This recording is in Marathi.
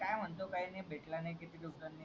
काय म्हणतो काय नाय भेटला नाही किती दिवसांनी